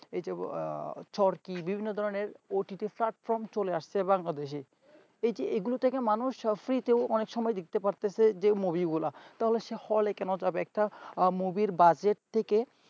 এই যে থর কি বিভিন্ন ধরনের ott platform চলে আসছে বাংলাদেশ এই যে এগুলো থেকে মানুষ free ও অনেক সময় দেখতে পারতাছে যে movie গুলা তাহলে সে হলে কেন যাবে একটা movie budget থেকে